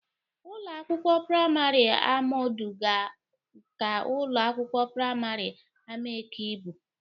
Ụlọ akwụkwọ praịmarị Amodu ka ụlọ akwụkwọ praịmarị Amaeke ibu.